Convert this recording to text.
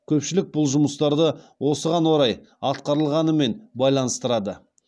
көпшілік бұл жұмыстарды осыған орай атқарылғанымен байланыстырды